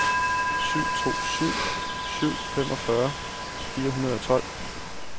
syv to syv syv femogfyrre fire hundrede og tolv